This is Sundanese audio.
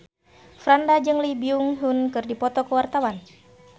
Franda jeung Lee Byung Hun keur dipoto ku wartawan